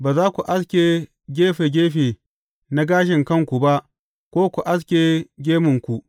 Ba za ka aske gefe gefe na gashin kanka ba, ko ku aske gemunku.